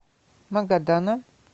магадана